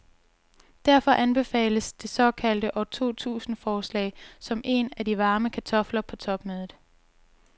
Derfor anbefales det såkaldte år to tusind forslag, som er en af de varme kartofler på topmødet.